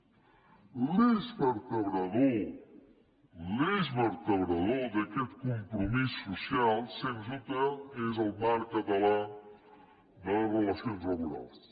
l’eix vertebrador l’eix vertebrador d’aquest compromís social sens dubte és el marc català de relacions laborals